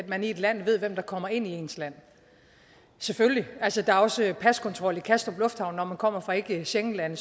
at man i et land ved hvem der kommer ind i ens land selvfølgelig altså der er også paskontrol i kastrup lufthavn når man kommer fra ikke schengenlande